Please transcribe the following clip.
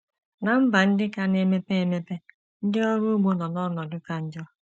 Ná mba ndị ka na - emepe emepe, ndị ọrụ ugbo nọ n’ọnọdụ ka njọ.